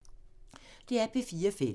DR P4 Fælles